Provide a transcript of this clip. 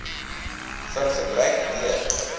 vir gebruik deur